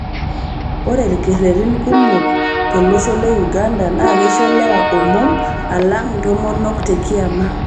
Ore lkeretin kumok to losho le Uganda na keisho lewa omom alang' ntomonok tekiama